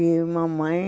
E mamãe